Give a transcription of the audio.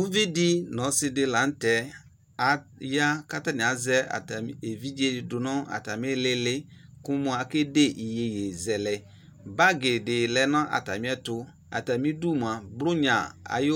Uvi de no ɔse de lantɛ aya ka atame azɛ atame evidze do no atame ilili ko mo akede yeyezɛlɛ Bagi de lɛ no atame ɛto Atame du moa bronya aye